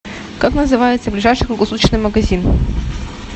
как называется ближайший круглосуточный магазин